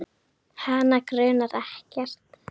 Hana grunar ekkert.